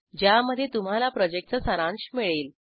ज्यामध्ये तुम्हाला प्रॉजेक्टचा सारांश मिळेल